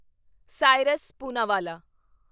Cyrus Poonawalla